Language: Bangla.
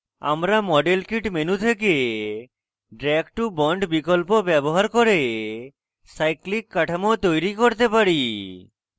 আমরা model kit menu থেকে drag to bond বিকল্প ব্যবহার করে cyclic cyclic কাঠামো তৈরী করতে পারি